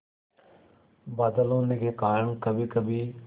बादल होने के कारण कभीकभी